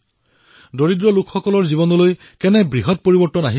মই দেখিছো যে দুখীয়াসকলৰ জীৱনলৈ কিদৰে পৰিৱৰ্তন আহিছে